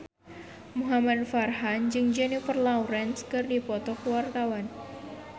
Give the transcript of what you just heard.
Muhamad Farhan jeung Jennifer Lawrence keur dipoto ku wartawan